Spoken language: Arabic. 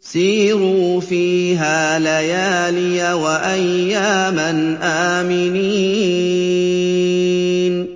سِيرُوا فِيهَا لَيَالِيَ وَأَيَّامًا آمِنِينَ